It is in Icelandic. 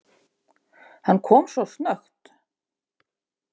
Hann kom svo snöggt.